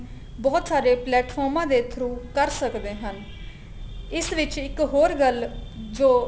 ਬਹੁਤ ਸਾਰੇ ਪਲੇਟਫੋਰਮਾ ਦੇ through ਕਰ ਸਕਦੇ ਹਨ ਇਸ ਵਿੱਚ ਇੱਕ ਹੋਰ ਗੱਲ ਜੋ